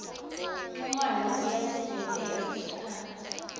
ncongwane uyasivetela sikhatsi